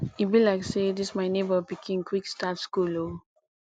e be like say dis my nebor pikin quick start school o